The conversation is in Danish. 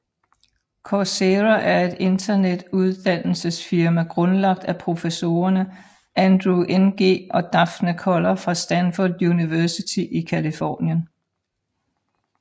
Coursera er et internet uddannelsesfirma grundlagt af professorerne Andrew Ng og Daphne Koller fra Stanford University i Californien